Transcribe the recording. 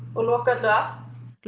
og loka öllu af lúcía